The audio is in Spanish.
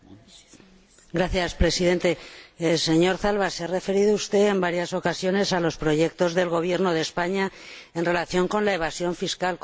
Señor Presidente, señor Zalba, se ha referido usted en varias ocasiones a los proyectos del Gobierno de España en relación con la evasión fiscal.